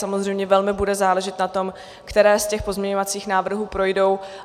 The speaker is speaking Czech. Samozřejmě velmi bude záležet na tom, které z těch pozměňovacích návrhů projdou.